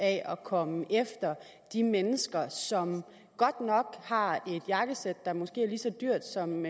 af at komme efter de mennesker som godt nok har et jakkesæt der måske er lige så dyrt som